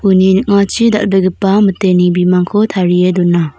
uni ning·achi dal·begipa miteni bimangko tarie dona.